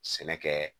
Sɛnɛ kɛ